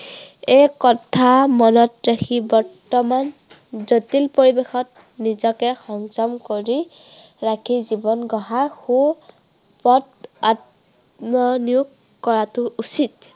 এই কথা মনত ৰাখি বৰ্তমান, জটিল পৰিৱেশত নিজকে সংযম কৰি, ৰাখি জীৱন গঢ়াৰ সু পথ আত্মনিয়োগ কৰাটো উচিত।